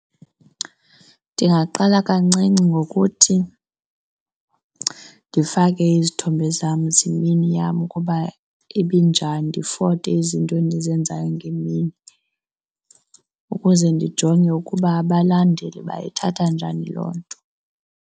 Ndingaqala kancinci ngokuthi ndifake izithombe zam zemini yam ukuba ibinjani, ndifote izinto endizenzayo ngemini ukuze ndijonge ukuba abalandeli bayithatha njani loo nto.